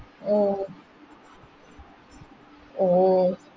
ഓ ഓ